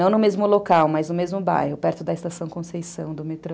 Não no mesmo local, mas no mesmo bairro, perto da Estação Conceição, do metrô.